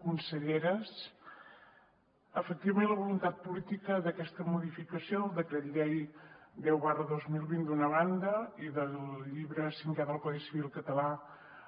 conselleres efectivament la voluntat política d’aquesta modificació del decret llei deu dos mil vint d’una banda i del llibre cinquè del codi civil català